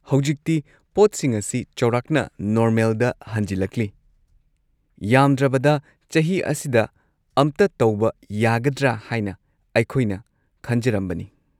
ꯍꯧꯖꯤꯛꯇꯤ ꯄꯣꯠꯁꯤꯡ ꯑꯁꯤ ꯆꯧꯔꯥꯛꯅ ꯅꯣꯔꯃꯦꯜꯗ ꯍꯜꯖꯤꯜꯂꯛꯂꯤ, ꯌꯥꯝꯗ꯭ꯔꯕꯗ ꯆꯍꯤ ꯑꯁꯤꯗ ꯑꯃꯇ ꯇꯧꯕ ꯌꯥꯒꯗ꯭ꯔ ꯍꯥꯏꯅ ꯑꯩꯈꯣꯏꯅ ꯈꯟꯖꯔꯝꯕꯅꯤ꯫